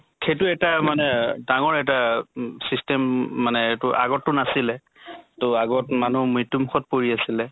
সেইটো এটা মানে ডাঙৰ এটা system উম মানে এইটো আগত টো নাছিলে। তʼআগত মানুহ মৃত্য়ু মুখত পৰি আছিলে